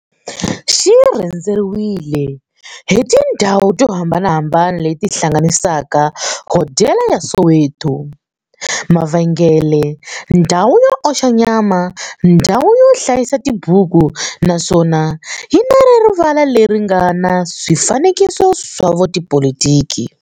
Xi rhendzeriwile hi tindhawu to hambanahambana le ti hlanganisaka, hodela ya Soweto, mavhengele, ndhawu yo oxa nyama, ndhawu yo hlayisa tibuku, naswona yi na rivala le ri nga na swifanekiso swa vo tipolitiki.